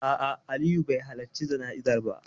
A'a, Aliyu bai halarci jana'izar ba.